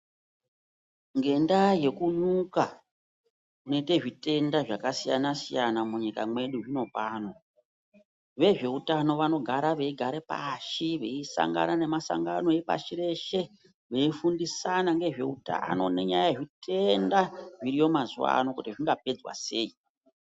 Ngendaa yekunyuka kunoite zvitenda zvakasiyana-siyana munyika mwedu zvino pano. Vezveutano vanogara veigare pashi veisangana nemasangano epashi reshe veifundisana ngezveutano nenyaya yezvitenda zviriyo mazuwa ano kuti zvingapedzwa sei.